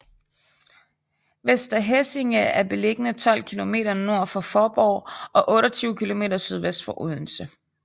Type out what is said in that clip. Vester Hæsinge er beliggende 12 kilometer nord for Faaborg og 28 kilometer sydvest for Odense